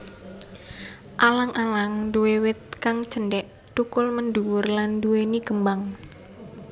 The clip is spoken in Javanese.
Alang alang nduwé wit kang cendhek thukul mendhuwur lan nduwèni kembang